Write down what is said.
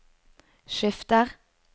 skifter